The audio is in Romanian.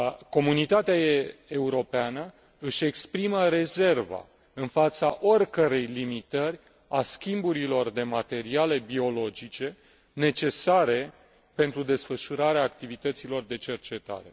Comunitatea Europeană își exprimă rezerva în fața oricărei limitări a schimburilor de materiale biologice necesare pentru desfășurarea activităților de cercetare.